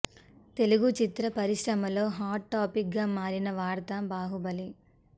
తెలుగు చిత్ర పరిశ్రమలో hot topic గా మారిన వార్త బాహుబలి